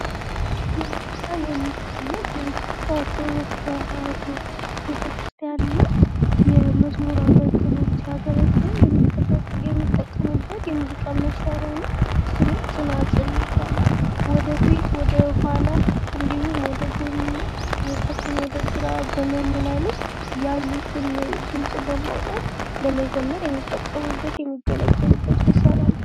በምስሉ ላይ የሚታየው በኢትዮጵያ ተዋህዶ ቤተክርስቲያን ላይ ለመዝሙር አገልግሎት ሲያገለግሉ የሚጠቀሙበት የሙዚቃ መሳሪያ ነው፤ ስሙም ፅናፅን ይባላል። ወደፊት፣ ወደኋላ ፣ ወደ ጎን እና ከቀኝ ወደ ግራ በማመላለስ ያሉትን ድምፅ በማውጣት ለመዘመር የሚጠቀሙበት የሚገለገሉበት መሳሪያ ነው ።